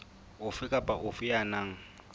ofe kapa ofe ya nang